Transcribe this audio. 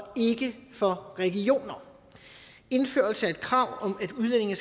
ikke for regioner indførelse af et krav om at udlændinge